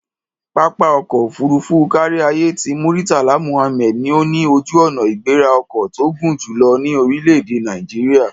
Pápá ọkọ̀ òfuurufú káríayé ti Murtala Muhammed ni ó ní ojú-ọnà-ìgbéra-ọkọ̀ tó gùn jù lọ ní orílẹ̀-èdè Nàìjíríà.